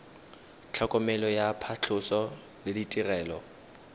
tlhokomelo ya phatlhoso le ditirelo